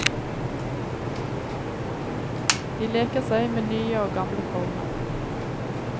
De leker seg med nye og gamle former.